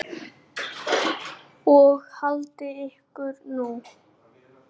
Og haldið ykkur nú.